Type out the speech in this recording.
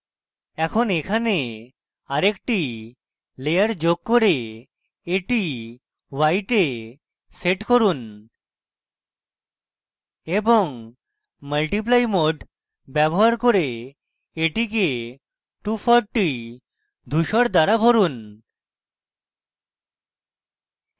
এখন এখানে আরেকটি layer যোগ করে এটি white এ set করুন এবং multiply mode ব্যবহার করে এটিকে 240 ধূসর দ্বারা ভরুন